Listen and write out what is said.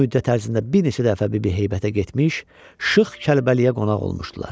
Bu müddət ərzində bir neçə dəfə Bibi Heybətə getmiş, Şıx Kəlbəliyə qonaq olmuşdular.